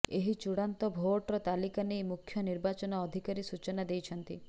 ଏହି ଚୂଡ଼ାନ୍ତ ଭୋଟର ତାଲିକା ନେଇ ମୁଖ୍ୟ ନିର୍ବାଚନ ଅଧିକାରୀ ସୂଚନା ଦେଇଛନ୍ତି